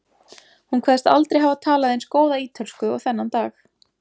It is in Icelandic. Hún kveðst aldrei hafa talað eins góða ítölsku og þennan dag.